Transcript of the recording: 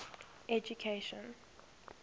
education